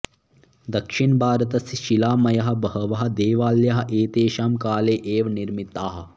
दक्षिणभारतस्य शिलामयाः बहवः देवालयाः एतेषां काले एव निर्मिताः